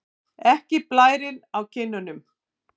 Ekki blærinn á kinnunum.